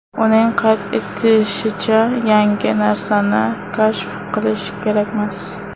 Uning qayd etishicha, yangi narsani kashf qilish kerakmas.